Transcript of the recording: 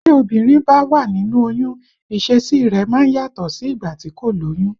Tí obìnrin bá wà nínú oyún, ìṣesí i rẹ̀ máa yàtọ̀ sí ìgbà tí kò lóyún